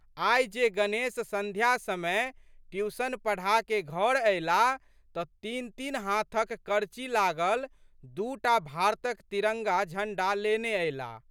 आइ जे गणेश संध्या समय ट्यूशन पढ़ाकए घर अयलाह तऽ तीनतीन हाथक करची लागल दू टा भारतक तिरंगा झंडा लेने अयलाह।